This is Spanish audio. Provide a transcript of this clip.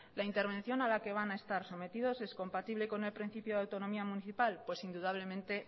la intervención a la que van a estar sometidos es compatible con el principio de autonomía municipal pues indudablemente